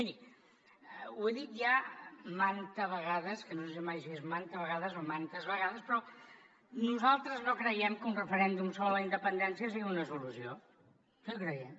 miri ho he dit ja manta vegades que no sé mai si és manta vegades o mantes vegades però nosaltres no creiem que un referèndum sobre la independència sigui una solució no ho creiem